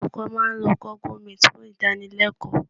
Olùkọ́ máa lo Google meet fún ìdánilẹ́kọ̀ọ́